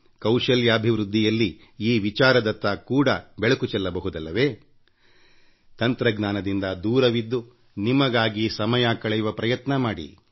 ಕೌಶಲಾಭಿವೃದ್ಧಿಯಲ್ಲಿ ಈ ವಿಚಾರದತ್ತ ಕೂಡ ಬೆಳಕು ಚೆಲ್ಲಬಹುದಲ್ಲವೇ ತಂತ್ರಜ್ಞಾನದಿಂದ ದೂರವಿದ್ದು ನಿಮಗಾಗಿ ಸಮಯ ಕಳೆಯುವ ಪ್ರಯತ್ನ ಮಾಡಿ